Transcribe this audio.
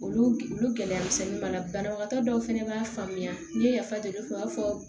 Olu olu gɛlɛya misɛnnin b'a la banabagatɔ dɔw fɛnɛ b'a faamuya n'i ye yafa deli u b'a fɔ